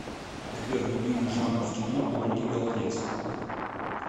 сбер любимый жанр в кино у ольги голодец